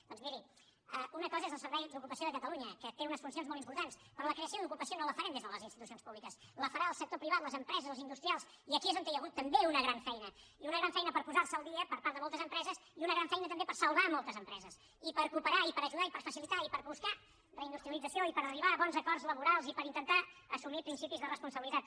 doncs miri una cosa és el servei d’ocupació de catalunya que té unes funcions molt importants però la creació d’ocupació no la farem des de les institucions públiques la farà el sector privat les empreses els industrials i aquí és on hi ha hagut també una gran feina i una gran feina per posar se al dia per part de moltes empreses i una gran feina també per salvar moltes empreses i per cooperar i per ajudar i per facilitar i per buscar reindustrialització i per arribar a bons acords laborals i per intentar assumir principis de responsabilitat